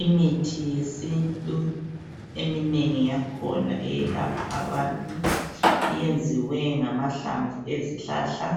Imithi yesintu eminengi yakhona iyalapha abantu iyenziwe ngamahlamvu ezihlahla